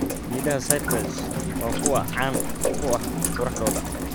Geedaha cypress waa kuwo caan ku ah quruxdooda.